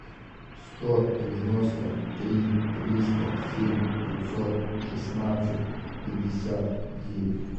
сто девяносто три триста семь пятьсот шестнадцать пятьдесят девять